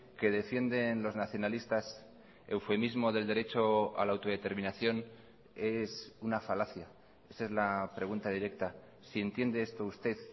que defienden los nacionalistas eufemismo del derecho a la autodeterminación es una falacia esa es la pregunta directa si entiende esto usted